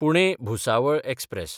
पुणे–भुसावळ express